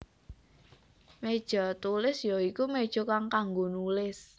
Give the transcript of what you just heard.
Méja Tulis ya iku méja kang kanggo nulis